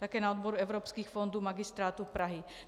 Také na odboru evropských fondů Magistrátu Prahy.